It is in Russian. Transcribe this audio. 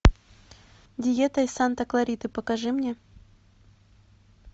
диета из санта клариты покажи мне